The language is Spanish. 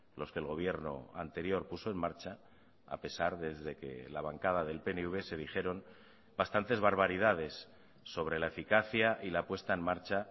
los que el gobierno anterior puso en marcha a pesar desde que la bancada del pnv se dijeron bastantes barbaridades sobre la eficacia y la puesta en marcha